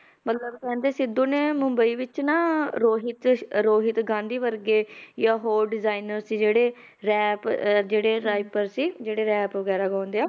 ਮਤਲਬ ਕਹਿੰਦੇ ਸਿੱਧੂ ਨੇ ਮੁੰਬਈ ਵਿੱਚ ਨਾ ਰੋਹਿਤ ਰੋਹਿਤ ਗਾਂਧੀ ਵਰਗੇ ਜਾਂ ਹੋਰ designer ਸੀ ਜਿਹੜੇ rap ਜਿਹੜੇ rapper ਜਿਹੜੇ rap ਵਗ਼ੈਰਾ ਗਾਉਂਦੇ ਆ